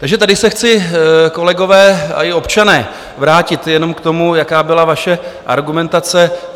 Takže tady se chci, kolegové i občané, vrátit jenom k tomu, jaká byla vaše argumentace.